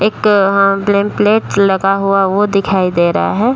एक वहां name plate लगा हुआ वो दिखाई दे रहा है।